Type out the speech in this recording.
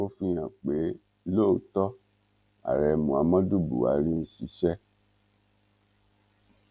ó fi hàn pé lóòótọ ààrẹ muhammadu buhari ń ṣiṣẹ